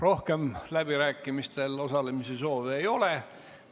Rohkem läbirääkimistel osalemise soovi ei ole.